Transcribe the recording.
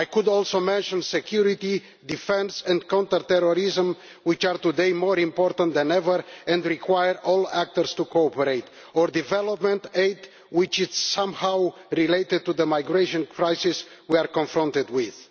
I could also mention security, defence and counter terrorism, which are today more important than ever and require all actors to cooperate, or development aid which is related to the migration crisis we are confronted with.